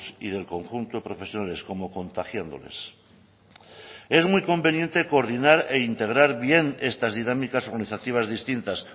y del conjunto profesionales como contagiándoles es muy conveniente coordinar e integrar bien estas dinámicas organizativas distintas